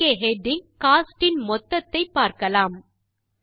இங்கே heading cost இன் மொத்தத்தை பார்க்கலாம்